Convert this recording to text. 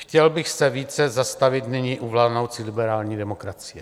Chtěl bych se více zastavit nyní u vládnoucí liberální demokracie.